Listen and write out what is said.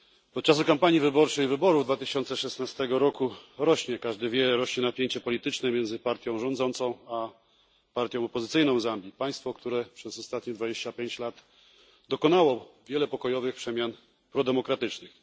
Od czasu kampanii wyborczej i wyborów z 2016 roku rośnie jak każdy wie napięcie polityczne między partią rządzącą a partią opozycyjną w Zambii, państwie, które przez ostatnie 25 lat dokonało wielu pokojowych przemian prodemokratycznych.